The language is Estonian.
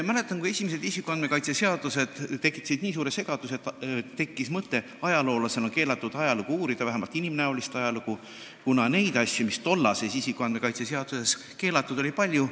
Mäletan, kui esimesed isikuandmete kaitse seadused tekitasid nii suure segaduse, et ajaloolasena tekkis mõte keelatud ajalugu, vähemalt inimnäolist ajalugu uurida, kuna neid asju, mis olid tollaste isikuandmete kaitse seadustega keelatud, oli palju.